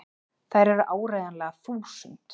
Þær eru áreiðanlega þúsund!!